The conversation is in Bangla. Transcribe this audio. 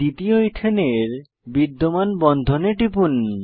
দ্বিতীয় ইথেনের বিদ্যমান বন্ধনে টিপুন